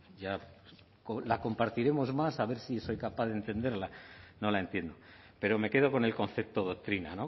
ya la compartiremos más a ver si soy capaz de entenderla no la entiendo pero me quedo con el concepto doctrina